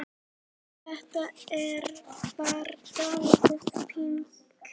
Þetta var dálítið panikk.